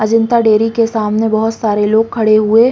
Ajanta dairy के सामने बहुत सारे लोग खड़े हुए --